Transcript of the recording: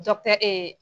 Dɔkitɛri ee